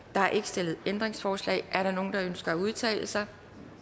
er ikke stillet ændringsforslag er der nogen der ønsker at udtale sig